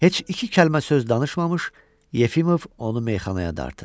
Heç iki kəlmə söz danışmamış, Yefimov onu meyxanaya dartır.